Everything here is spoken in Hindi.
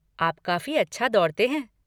आप काफ़ी अच्छा दौड़ते हैं।